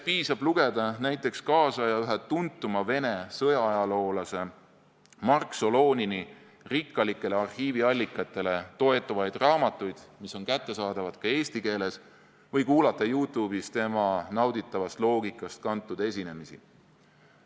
Piisab, kui lugeda näiteks kaasaja ühe tuntuma Vene sõjaajaloolase Mark Solonini rikkalikele arhiiviallikatele toetuvaid raamatuid, mis on kättesaadavad ka eesti keeles, või kuulata Youtube'is tema nauditavast loogikast kantud esinemisi.